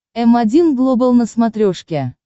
м один глобал на смотрешке